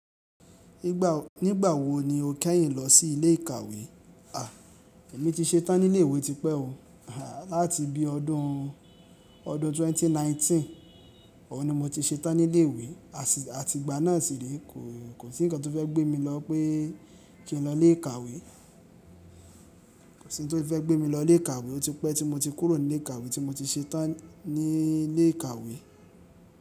Nígbà wo ni o kẹ́yìn lọ sí ilé ìkàwé? Èmi ti ṣe tán ní ilé ìwé tipẹ́ o. Láti bí ọdún, ọdun 2019 ọun ni mo ti ṣe tán ní ilé ìwé. Àti ìgbà náà síì re kò sí ńǹkan tó fẹ́ gbé mi lọ pé kí n lọ ilé ìkàwé. Ko si oun to tun fe gbemi lo ile ikawe mo. Ó tipẹ́ tí mo ti kúrò ní ilé ìkàwé tí mo ti ṣe tán ní ilé ìkàwé.